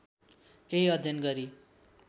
केही अध्ययन गरी